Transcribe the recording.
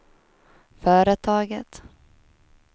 företaget